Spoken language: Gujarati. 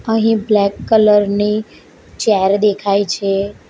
અહીં બ્લેક કલર ની ચેર દેખાય છે.